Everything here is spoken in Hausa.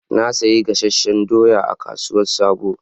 Na sayi gasasshen doyan a kasuwan sabo